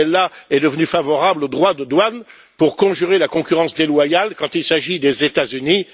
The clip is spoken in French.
Pittella est devenu favorable aux droits de douane pour conjurer la concurrence déloyale quand il s'agit des États Unis.